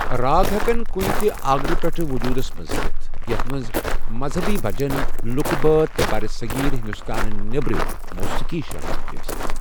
راگ ہیکن کُنہِ تہِ آگرٕ پیٚٹھٕ وجوٗدس منٛز یِتھ، یتھُ منٛز مذہنی بھجَن، لُکہٕ بٲتھ، تہٕ برصغیر ہِندوستانہٕ نیٚبرِم موسیقی شٲمِل ہیٚکہِ ٲسِتھ ۔